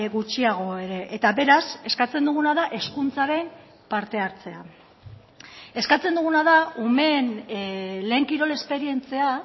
gutxiago ere eta beraz eskatzen duguna da hezkuntzaren parte hartzea eskatzen duguna da umeen lehen kirol esperientzia